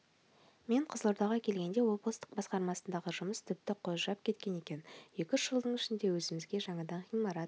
мен қызылордаға келгенде облыстық басқармасындағы жұмыс тіпті қожырап кеткен екен екі-үш жылдың ішінде өзімізге жаңадан ғимарат